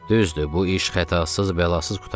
Düzdür, bu iş xətasız bəlasız qurtardı.